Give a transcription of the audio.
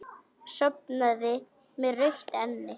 Sofnaði með rautt enni.